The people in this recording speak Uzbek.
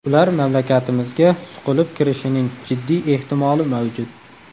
Ular mamlakatimizga suqilib kirishining jiddiy ehtimoli mavjud.